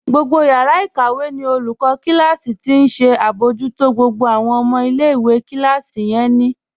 Gbogbo yàrà ikàwẹ̀ ní olùkọ̀ kílásí̀ tí ó nṣẹ abọ̀jútó gbogbo awọn ọmọ ilẹ̀-ìwé ní kílásí yẹn.